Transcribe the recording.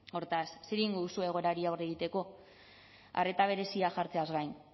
hortaz zer egingo duzue egoerari aurre egiteko arreta berezia jartzeaz gain